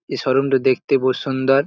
এই -showroom তা দেখতে বহুত সুন্দর।